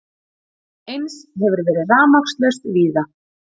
Eins hefur verið rafmagnslaust víða